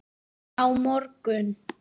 Tom rak upp stór augu.